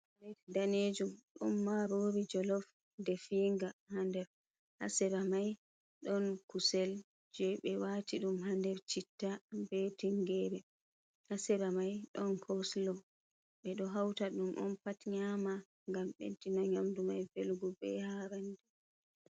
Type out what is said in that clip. Plet danejum, ɗon marori jolof definga ha nder, ha sera mai ɗon kusel je be wati ɗum ha nder chitta be tingere, ha sera mai ɗon koslo, ɓe ɗo hauta ɗum on pat nyama ngam ɓeddina nyamdu mai velugo be harand.